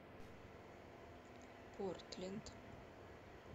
портленд